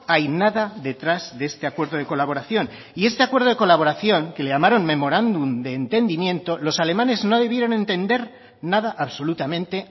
hay nada detrás de este acuerdo de colaboración y este acuerdo de colaboración que le llamaron memorándum de entendimiento los alemanes no debieron entender nada absolutamente